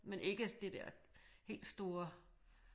Men ikke det der helt store